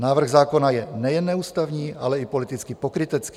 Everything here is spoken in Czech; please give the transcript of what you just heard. Návrh zákona je nejen neústavní, ale i politicky pokrytecký.